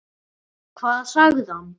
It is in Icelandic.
Hvað sagði hann?